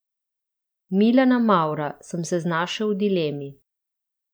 Milana Mavra, sem se znašel v dilemi.